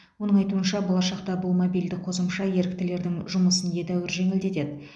оның айтуынша болашақта бұл мобильді қосымша еріктілердің жұмысын едәуір жеңілдетеді